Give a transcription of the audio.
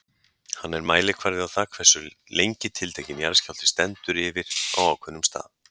Hann er mælikvarði á það hversu lengi tiltekinn jarðskjálfti stendur yfir á ákveðnum stað.